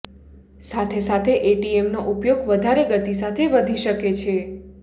સાથે સાથે એટીએમનો ઉપયોગ વધારે ગતિ સાથે વધી શકે છે